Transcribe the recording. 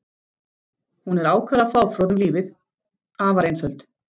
Hún er ákaflega fáfróð um lífið, afar einföld.